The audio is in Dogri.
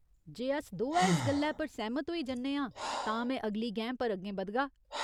जे अस दोऐ इस गल्लै पर सैह्‌मत होई जन्ने आं तां में अगली गैं पर अग्गें बधगा।